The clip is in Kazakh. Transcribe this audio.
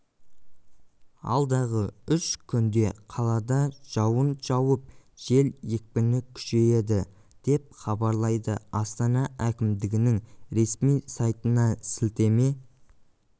алдағы үш күнде қалада жауын жауып жел екпіні күшейеді деп хабарлайды астана әкімдігінің ресми сайтына іілтеме